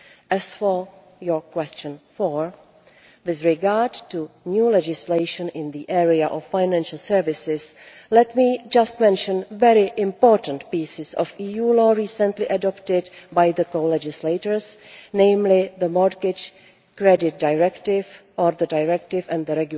As for your question number four, with regard to new legislation in the area of financial services, let me mention some important pieces of EU law recently adopted by the co legislators, namely the Mortgage Credit Directive and the